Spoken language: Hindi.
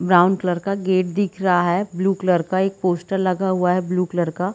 ब्रॉउन कलर का गेट दिख रहा है ब्लू कलर का एक पोस्टर हुआ है ब्लू कलर का --